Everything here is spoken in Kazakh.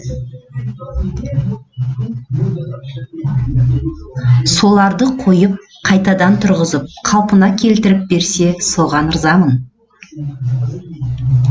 соларды қойып қайтадан тұрғызып қалпына келтіріп берсе соған ырзамын